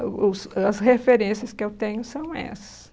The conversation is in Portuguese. Eu ouço as referências que eu tenho são essas.